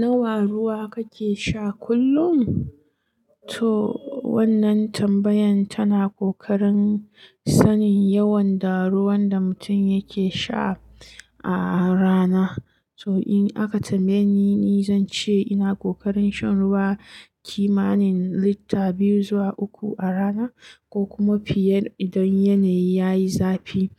Nawa ruwa kake sha kullum? To wannan tambayan tana ƙoƙarin sanin yawan da ruwan da mutum yake sha a rana. To in aka tambaye ni, ni zan ce ina ƙoƙarin shan ruwa kimanin lita biyu zuwa uku a rana ko kuma fiye idan yanayi yayi zafi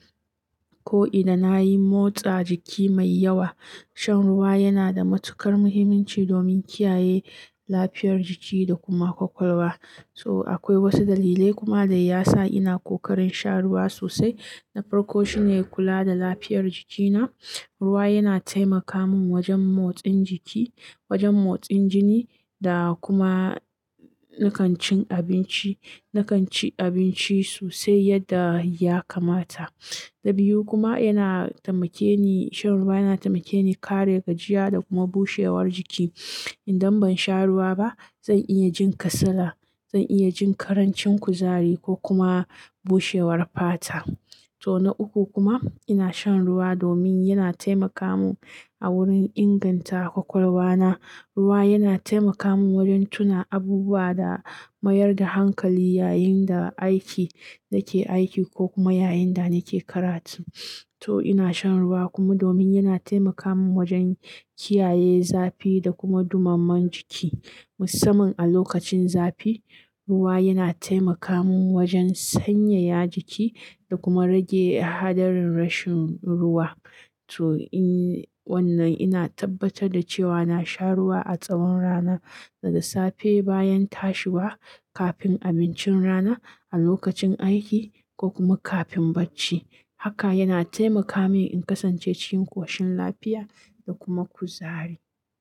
ko idan na yi motsa jiki mai yawa. Shan ruwa yana da matuƙar muhimmanci domin kiyaye lafiyar jiki da kuma ƙwaƙwalwa. So akwai wasu dalilai kuma da ya sa ina ƙoƙarin sha ruwa sosai. Na farko shine kula da lafiyar jikina. Ruwa yana taimaka mun wajen motsin jiki, wajen motsin jini da kuma. Nakan cin abinci, nakan ci abinci sosai yadda ya kamata. Na biyu kuma yana taimake ni, shan ruwa yana taimake ni kare gajiya da kuma bushewar jiki. Idan ban sha ruwa ba, zan iya jin kasala, zan iya jin ƙarancin kuzari ko kuma bushewar fata. To na uku kuma ina shan ruwa domin yana taimaka mun a wurin inganta ƙwaƙwalwa na. Ruwa yana taimaka mun wajen tuna abubuwa da mayar da hankali yayin da aiki nake aiki ko kuma yayin da nake karatu. To ina shan ruwa kuma domin yana taimaka mun wajen kiyaye zafi da kuma ɗumamar jiki. Musamman a lokacin zafi, ruwa yana taimaka mun wajen sanyaya jiki da kuma rage haɗarin rashin ruwa. To in wannan ina tabbatar da cewa na sha ruwa a tsawon rana, daga safe bayan tashi bwa, kafin abincin rana, a lokacin aiki ko kuma kafin bacci. Haka yana taimaka min in kasance cikin ƙshin lafiya da kuma kuzari.